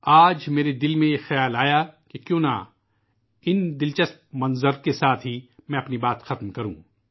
آج ایک خیال میرے ذہن میں آیا کہ کیوں نہ میں اپنی بات اس طرح کے دلچسپ حوالوں کے ساتھ پوری کروں